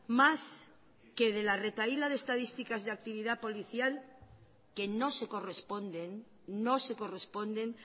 más que de la retahíla de estadísticas de actividad policial que no se corresponden no se corresponden